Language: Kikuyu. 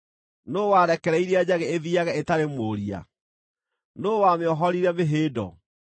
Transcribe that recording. “Nũũ warekereirie njagĩ ĩthiiage ĩtarĩ mũũria? Nũũ wamĩohorire mĩhĩndo?